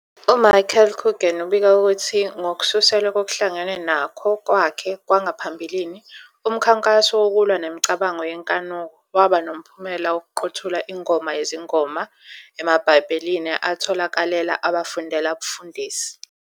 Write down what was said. UMichael Coogan ubika ukuthi, ngokususelwe kokuhlangenwe nakho kwakhe kwangaphambilini, umkhankaso wokulwa nemicabango yenkanuko waba nomphumela wokuqothula iNgoma Yezingoma emaBhayibhelini atholakalela abafundela ubufundisi.